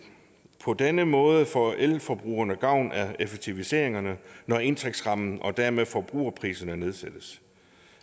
på denne måde får elforbrugerne gavn af effektiviseringerne når indtægtsrammen og dermed forbrugerpriserne nedsættes